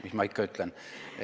Mis ma ikka ütlen.